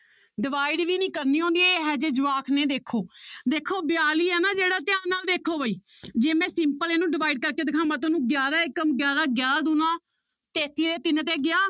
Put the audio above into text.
Divide ਵੀ ਨੀ ਕਰਨੀ ਆਉਂਦੀ ਇਹ ਜਿਹੇ ਜਵਾਕ ਨੇ ਦੇਖੋ ਦੇਖੋ ਬਿਆਲੀ ਆ ਨਾ ਜਿਹੜਾ ਧਿਆਨ ਨਾਲ ਦੇਖੋ ਬਾਈ ਜੇ ਮੈਂ simple ਇਹਨੂੰ divide ਕਰਕੇ ਦਿਖਾਵਾਂ ਤੁਹਾਨੂੰ ਗਿਆਰਾਂ ਏਕਮ ਗਿਆਰਾਂ ਗਿਆਰਾਂ ਦੂਣਾ ਤੇਤੀ ਤੇ ਤਿੰਨ ਤੇ ਗਿਆ,